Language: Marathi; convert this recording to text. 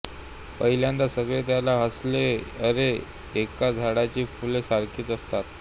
पहिल्यांदा सगळे त्याला हसले अरे एका झाडाची फुले सारखीच असणार